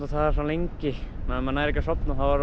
það er svo lengi ef maður nær ekki að sofna þá er